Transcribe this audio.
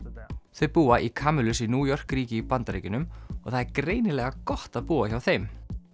þau búa í Camillus í New York ríki í Bandaríkjunum og það er greinilega gott að búa hjá þeim